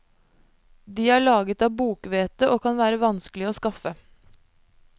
De er laget av bokhvete, og kan være vanskelige å skaffe.